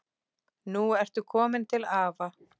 Nú ertu komin til afa.